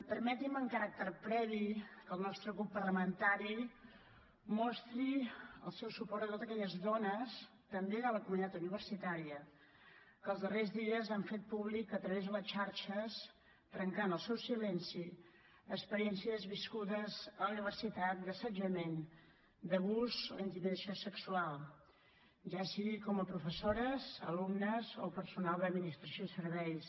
permetin me en caràcter previ que el nostre grup parlamentari mostri el seu suport a totes aquelles dones també de la comunitat universitària que els darrers dies han fet públic a través de les xarxes trencant el seu silenci experiències viscudes a la universitat d’assetjament d’abús o intimidació sexual ja sigui com a professores alumnes o personal d’administració i serveis